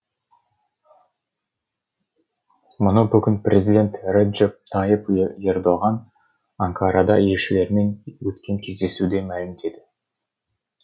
мұны бүгін президент реджеп тайып ердоған анкарада елшілермен өткен кездесуде мәлімдеді